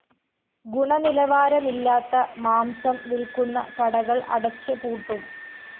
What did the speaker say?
ഗുണനിലവാരമില്ലാത്ത മാംസം വില്‍ക്കുന്ന കടകള്‍ അടച്ച് പൂട്ടും